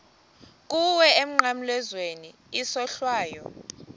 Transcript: kuwe emnqamlezweni isohlwayo